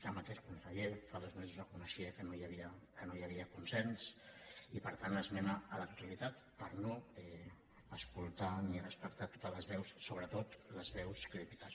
el mateix conseller fa dos mesos reconeixia que no hi havia consens i per tant esmena a la totalitat per no escoltar ni respectar totes les veus sobretot les veus crítiques